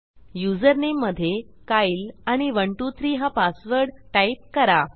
username मधे कायल आणि 123 हा पासवर्ड टाईप करा